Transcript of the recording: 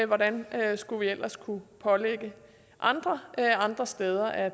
hvordan skulle vi ellers kunne pålægge andre andre steder at